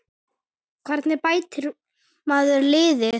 Hvernig bætir maður liðið?